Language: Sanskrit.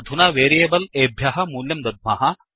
अधुना वेरियेबल् एभ्यः मूल्यं दद्मः